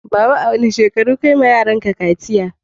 Baba, a wane shekaru kayi wa yaran ka kaciya?